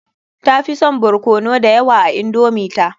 Tafi son barkono da yawa a indomi ta.